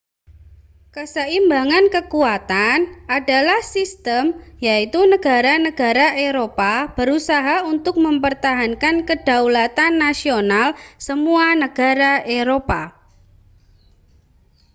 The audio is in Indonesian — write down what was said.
keseimbangan kekuatan adalah sistem yaitu negara-negara eropa berusaha untuk mempertahankan kedaulatan nasional semua negara eropa